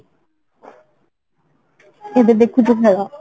ଏବେ ଦେଖୁଛନ୍ତି ଖେଳ